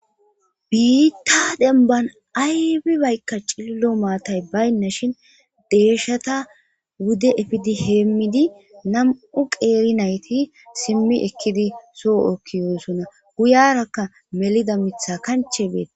biitta denban aybibaykka cillo maatay baynna shin deeshata wude efidi heemmidi nam7u qeeri nayti simmi ekkidi soo7okkiyoosonna guyarakka melida mitha kanche beeta